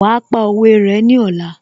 Wàá pa òwe rẹ ní ọ̀la